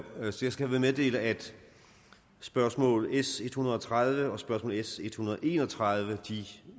skal herved meddele at spørgsmål nummer s en hundrede og tredive og spørgsmål nummer s en hundrede og en og tredive